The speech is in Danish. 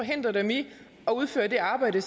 det